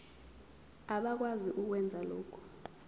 abakwazi ukwenza lokhu